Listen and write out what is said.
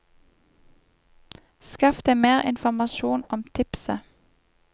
Skaff deg mer informasjon om tipset.